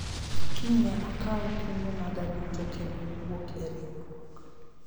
kiny ne akawu kungo maga duto kendo wuok e riwruok